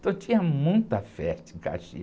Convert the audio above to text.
Então tinha muita festa em Caxias.